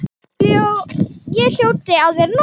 Ég hljóti að vera norn.